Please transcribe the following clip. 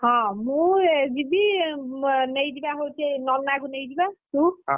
ହଁ ମୁଁ ଯିବି ନେଇଯିବା ହଉଛି ନନାକୁ ନେଇଯିବା, ତୁ ?